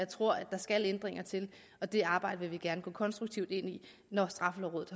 tror at der skal ændringer til og det arbejde vil vi gerne gå konstruktivt ind i når straffelovrådet